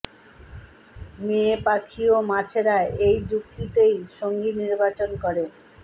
মেয়ে পাখি ও মাছেরা এই যুক্তিতেই সঙ্গী নির্বাচন করে